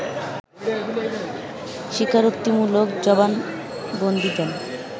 স্বীকারোক্তিমূলক জবানবন্দী দেন